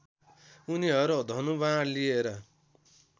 उनीहरू धनुवाण लिएर